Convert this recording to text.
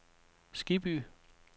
Skibby